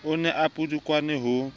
o ne a pudukane ho